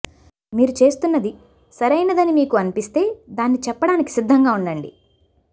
మీరు చేస్తున్నది సరైనదని మీకు అనిపిస్తే దాన్ని చెప్పడానికి సిద్ధంగా ఉండండి